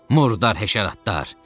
Murdar həşəratlar!